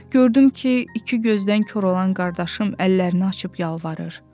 Gördüm ki, iki gözdən kor olan qardaşım əllərini açıb yalvarır.